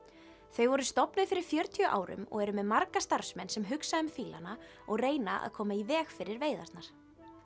þau voru stofnuð fyrir fjörutíu árum og eru með marga starfsmenn sem hugsa um og reyna að koma í veg fyrir veiðarnar